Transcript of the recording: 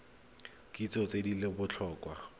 kitso tse di leng botlhokwa